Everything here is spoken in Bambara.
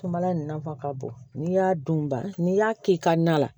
Kumala nafa ka bon n'i y'a dun ba n'i y'a kɛ i ka na la